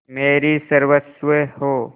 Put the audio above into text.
मेरी सर्वस्व हो